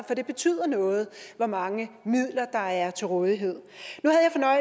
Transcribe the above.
for det betyder noget hvor mange midler der er til rådighed